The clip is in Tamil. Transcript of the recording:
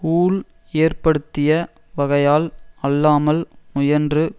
ஊழ் ஏற்ப்படுத்திய வகையால் அல்லாமல் முயன்று